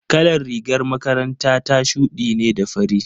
Kalar rigar makaranta ta shuɗi ne da fari.